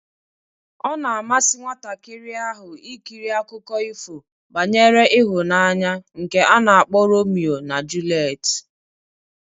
Ọ na-amasị nwatakịrị ahụ ikiri akụkọ ifo banyere ịhụnanya nke a na-akpọ Romio na julet